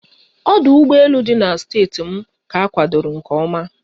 Ọdụ ụgbọ elu ọhụrụ dị na steeti m ka akwadoro nke oma